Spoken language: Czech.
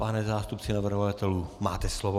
Pane zástupce navrhovatelů, máte slovo.